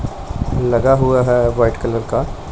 लगा हुआ है व्हाइट कलर का --